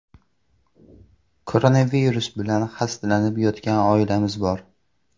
Koronavirus bilan xastalanib yotgan oilamiz bor.